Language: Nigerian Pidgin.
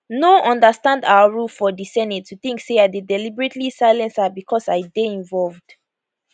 no understand our rule for di senate to think say i dey deliberately silence her becos i dey involved